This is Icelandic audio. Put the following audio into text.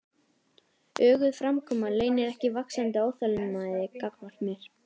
Öguð framkoma leynir ekki vaxandi óþolinmæði gagnvart mér.